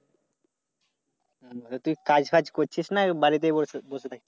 তা তুই কাজ-ফাজ করছিস না? নাকি বাড়িতে বসে আসিস সেই ধরে?